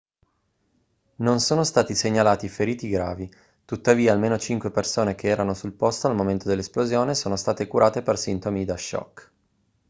non sono stati segnalati feriti gravi tuttavia almeno cinque persone che erano sul posto al momento dell'esplosione sono state curate per sintomi da shock